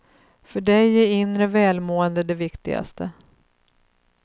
För dig är inre välmående det viktigaste.